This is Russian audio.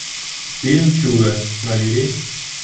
фильм чудо набери